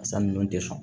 Fasa ninnu tɛ fa